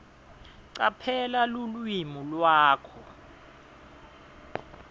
caphela lulwimi lwakho